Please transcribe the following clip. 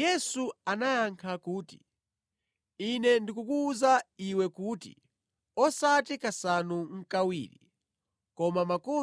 Yesu anayankha kuti, “Ine ndikukuwuza iwe kuti osati kasanu nʼkawiri, koma ka